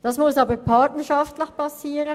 Das muss jedoch partnerschaftlich geschehen.